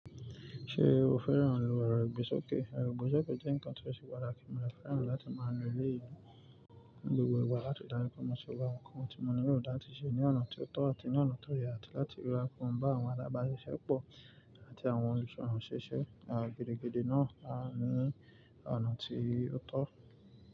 Ṣé o fẹ́ràn alo àràgbe sókè? Àràgbé sókè jẹ́ nǹkan tó ṣe pàtàkì, tí mo fẹ́ràn láti máa lò ní ilé mi ní gbogbo ìgbà láti dára pọ̀ mọ̀ṣe wá nǹkan tí mo ní yóò dáa tiṣe ní ọ̀nà tí ó tọ́ àti ní ọ̀nà tí ó yẹ láti ríra kún bá àwọn alábáṣiṣẹ́pọ̀ àti àwọn olùṣọ́ àwọn ṣeṣẹ́ Àwọn gedegede náà hán ní ọ̀nà tí ó tọ́